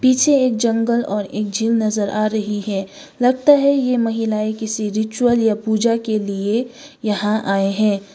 इसे एक जंगल और एक झील नजर आ रही है लगता है ये महिलाएं किसी रिचुअल या पूजा के लिए यहां आए हैं।